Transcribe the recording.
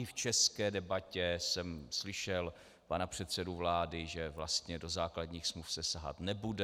I v české debatě jsem slyšel pana předsedu vlády, že vlastně do základních smluv se sahat nebude.